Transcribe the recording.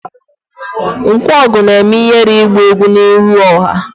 Nkwogu na-eme ihere igba egwu n'ihu ọha